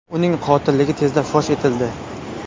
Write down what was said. Uning qotilligi tezda fosh etildi.